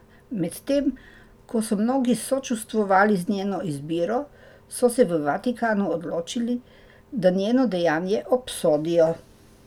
Medtem ko so mnogi sočustvovali z njeno izbiro, so se v Vatikanu odločili, da njeno dejanje obsodijo.